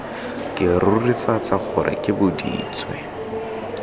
ke rurifatsa gore ke boditswe